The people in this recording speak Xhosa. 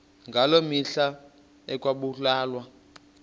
ngaloo mihla ekwakubulawa